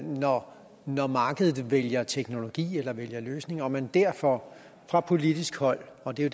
når når markedet vælger teknologi eller vælger løsning og at man derfor fra politisk hold og det er